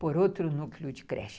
por outro núcleo de creche.